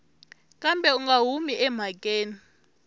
kambe u nga humi emhakeni